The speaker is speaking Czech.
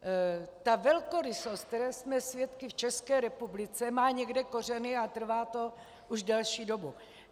Ta velkorysost, které jsme svědky v České republice, má někde kořeny a trvá to už delší dobu.